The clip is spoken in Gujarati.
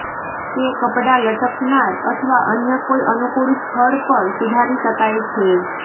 તે કપડાં લટકનાર અથવા અન્ય કોઈ અનુકૂળ સ્થળ પર સુધારી શકાય છે